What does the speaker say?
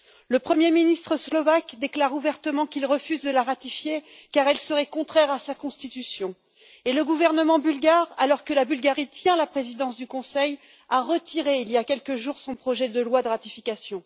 Le premier ministre slovaque déclare ouvertement qu'il refuse de la ratifier car elle serait contraire à sa Constitution et le gouvernement bulgare alors que la Bulgarie assure la présidence du Conseil a retiré il y a quelques jours, son projet de loi de ratification.